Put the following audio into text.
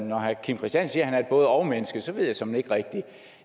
når herre kim christiansen siger at han er et både og menneske så ved jeg såmænd ikke rigtig